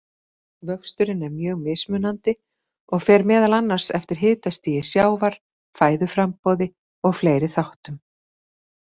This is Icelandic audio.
Vöxturinn er mjög mismunandi og fer meðal annars eftir hitastigi sjávar, fæðuframboði og fleiri þáttum.